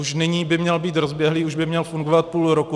Už nyní by měl být rozběhlý, už by měl fungovat půl roku.